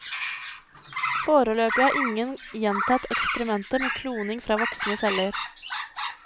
Foreløpig har ingen gjentatt eksperimentet med kloning fra voksne celler.